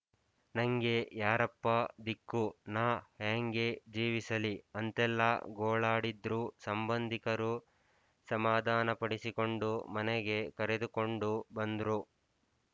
ನಂಗೆ ಯಾರಪ್ಪ ದಿಕ್ಕು ನಾ ಹ್ಯಾಂಗೆ ಜೀವಿಸಲಿ ಅಂತೆಲ್ಲ ಗೋಳಾಡಿದ್ರು ಸಂಬಂಧಿಕರು ಸಮಾಧಾನಪಡಿಸಿಕೊಂಡು ಮನೆಗೆ ಕರೆದುಕೊಂಡು ಬಂದ್ರು